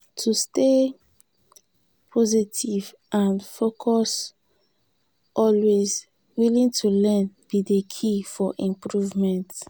to stay positive and focus always willing to learn be di key for improvement.